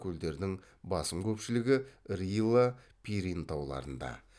көлдердің басым көпшілігі рила пирин тауларында